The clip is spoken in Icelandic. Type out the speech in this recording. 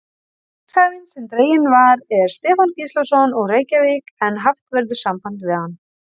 Vinningshafinn sem dreginn var er Stefán Gíslason, úr Reykjavík en haft verður samband við hann.